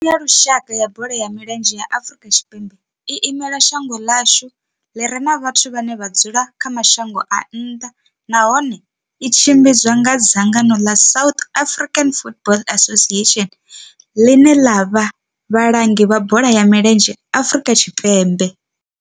Thimu ya lushaka ya bola ya milenzhe ya Afrika Tshipembe i imela shango ḽa hashu ḽi re na vhathu vhane vha dzula kha mashango a nnḓa nahone tshi tshimbidzwa nga dzangano la South African Football Association, ḽine ḽa vha vhalangi vha bola ya milenzhe Afrika Tshipembe.